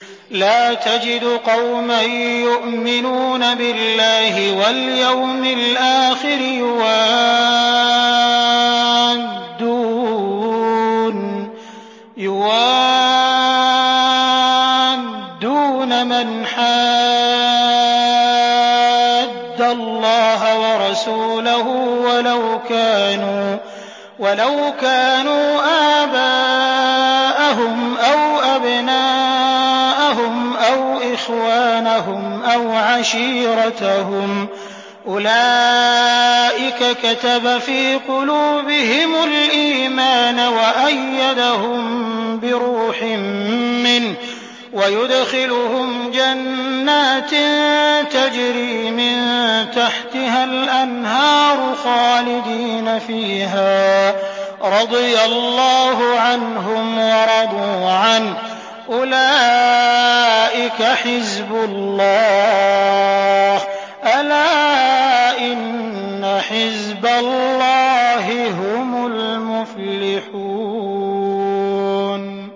لَّا تَجِدُ قَوْمًا يُؤْمِنُونَ بِاللَّهِ وَالْيَوْمِ الْآخِرِ يُوَادُّونَ مَنْ حَادَّ اللَّهَ وَرَسُولَهُ وَلَوْ كَانُوا آبَاءَهُمْ أَوْ أَبْنَاءَهُمْ أَوْ إِخْوَانَهُمْ أَوْ عَشِيرَتَهُمْ ۚ أُولَٰئِكَ كَتَبَ فِي قُلُوبِهِمُ الْإِيمَانَ وَأَيَّدَهُم بِرُوحٍ مِّنْهُ ۖ وَيُدْخِلُهُمْ جَنَّاتٍ تَجْرِي مِن تَحْتِهَا الْأَنْهَارُ خَالِدِينَ فِيهَا ۚ رَضِيَ اللَّهُ عَنْهُمْ وَرَضُوا عَنْهُ ۚ أُولَٰئِكَ حِزْبُ اللَّهِ ۚ أَلَا إِنَّ حِزْبَ اللَّهِ هُمُ الْمُفْلِحُونَ